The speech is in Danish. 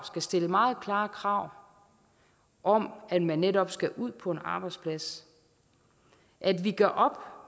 stille meget klare krav om at man netop skal ud på en arbejdsplads at vi gør op